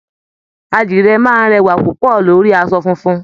Àdìrẹ a máa rẹwà púpọ̀ lórí asọ funfun